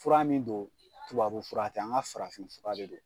Fura min don tubabu fura tɛ an ka farafin fura de don